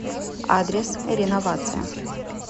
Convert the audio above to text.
адрес реновация